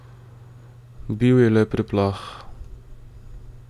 Bil je le preplah.